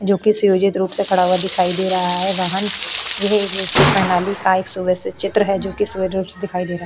जो कि संयोजित रूप से खड़ा हुआ दिखाई दे रहा है वाहन यह एक निश्चित प्रणाली का सुववस्थित चित्र है जो रूप से दिखाई दे रहा --